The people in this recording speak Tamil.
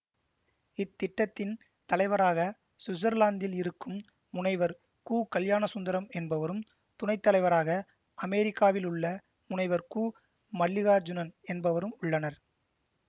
இத்திட்டத்தின் தலைவராக சுவிட்சர்லாந்தில் இருக்கும் முனைவர் கு கல்யாணசுந்தரம் என்பவரும் துணைத்தலைவராக அமெரிக்காவிலுள்ள முனைவர் கு மல்லிகார்ஜுனன் என்பவரும் உள்ளனர்